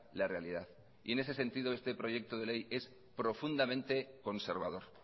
la realidad y en ese sentido este proyecto de ley es profundamente conservador